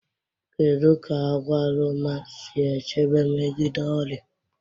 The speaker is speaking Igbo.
Kedu ka agwaluma si echebe megide ọrịa?